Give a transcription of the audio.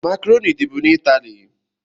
Macroni dị bụ n' italie